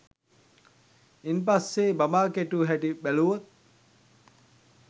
ඉන් පස්සේ බඹා කෙටු හැටි බැලුවොත්